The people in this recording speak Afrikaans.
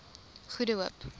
goede hoop